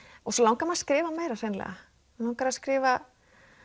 og svo langar mig að skrifa meira mig langar að skrifa